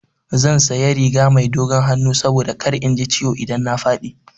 Zan sanya riga mai dogon hannu saboda kar in ji ciwo idan na faɗi.